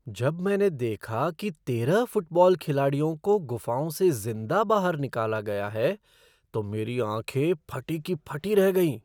जब मैंने देखा कि तेरह फ़ुटबॉल खिलाड़ियों को गुफाओं से ज़िंदा बाहर निकाला गया है तो मेरी आँखें फटी की फटी रह गईं।